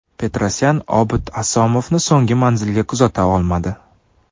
Petrosyan Obid Asomovni so‘nggi manzilga kuzata olmadi.